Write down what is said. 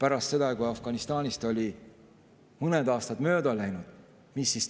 Aga mis toimus, kui Afganistani olid mõned aastad mööda läinud?